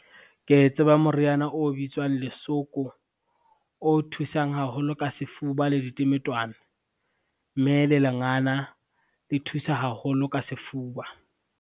Ke tseba moriana o bitswang lesoko, o thusang haholo ka sefuba le ditemetwana, mme le lengana le thusa haholo ka sefuba.